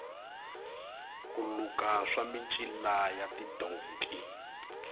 ku luka swa micila ya tidonki